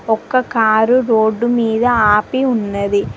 ఒక్క car road మీద ఆపి ఉన్నది.